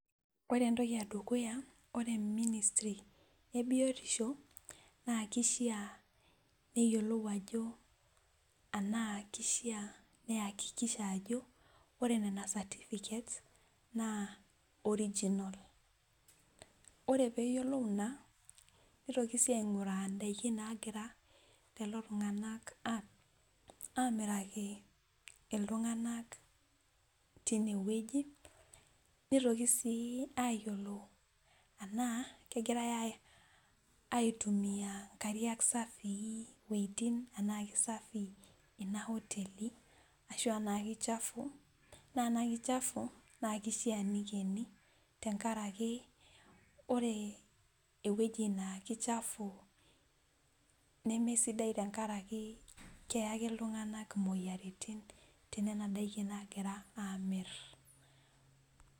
Ore entoki edukuya ,ore ministry ebiotishio naa kishaa neyiolou ajo tenaakishaa neyiolou ajo ore nena certificates naa original ore pee eyiolou ina, nitoki sii ainguraa ndaiki nagira lelo tunganak amiraki iltunganak tineweji, nitoki sii ayiolou tena kegirae aitumiyia nkariak safii iwejitin tenaa kisafii ina hoteli ashua kichafu, naa tenaa kichafu naa keishaa neikeni tenkaraki ore eweji naa kichafu nemesidai tenkaraki keyakina iltunganak moyiaritin tenena daiki naagira aamir.